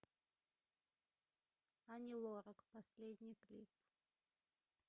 ани лорак последний клип